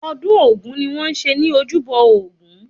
Ọdún ogún ni wọ́n ń ṣe ní ojúbọ Ògún